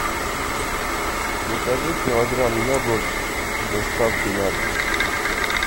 закажи килограмм яблок с доставкой на дом